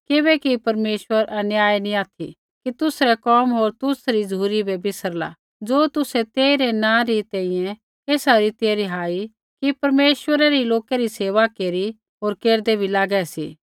किबैकि परमेश्वर अन्यायी नी ऑथि कि तुसरै कोम होर तुसरी झ़ुरी बै बिसरला ज़ो तुसै तेइरै नाँ री तैंईंयैं एसा रीतियै रिहाई कि परमेश्वरा रै लोकै री सेवा केरी होर केरदै बी लागै सी